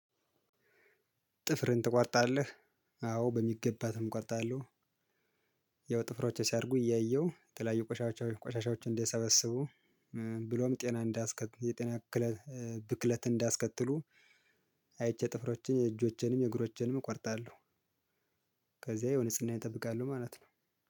ጥፍርህን ትቆጣለህ? አዎ በሚገባ እቆጣለሁ። ያው ጥፍሮቼ ሲያርጉ እያየሁ የተለያዩ ቆሻሻዎች ቆሻሻዎችን እንዲሰበስቡ ብሎም ጤና እንዳስከትሉ የጤና ክለት ብክለት እንዳስከትሉ። አይቼ ጥፍሮቼን እጆቼንም እግሮቼንም እቆርጣለሁ። ከዚያ ያው ንጽህናየን ጠብቃለሁ ማለት ነው።